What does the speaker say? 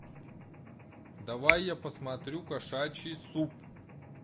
давай я посмотрю кошачий суп